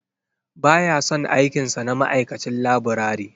Ba ya son aikin sa na ma'aikacin laburare.